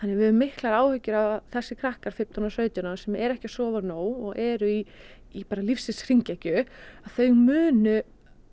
við höfum miklar áhyggjur að þessir krakkar fimmtán og sautján ára sem eru ekki að sofa nóg og eru í í lífsins hringekju að þau muni